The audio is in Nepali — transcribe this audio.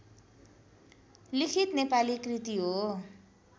लिखित नेपाली कृति हो